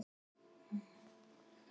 Þeir voru fámennir en gríðarlega háværir.